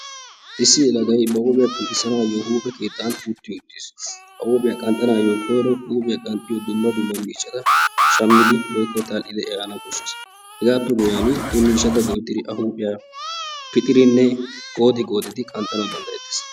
Issi yelaagay ba huuphiyaa qanxxisanayoo huphphe keettan utti uuttiis. a huphphiyaa qanxxanayoo koyro huphphyaa qanxxiyoo dumma dumma miishshatta woykko tal"idi eehana koshshees. hegaappe guyiyaan he miishshata go'ettidi a huphphiyaa pixiridinnewoykko goodi goodi qanxxanaw danddayettees.